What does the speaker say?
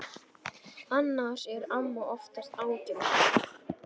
Annars er amma oftast ágæt.